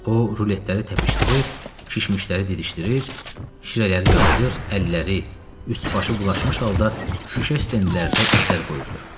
O ruletləri təpişdirir, şişmişləri didişdirir, şirələri yalayırdı, əlləri, üst-başı bulaşmış halda şüşə stendlərdə izlər qoyurdu.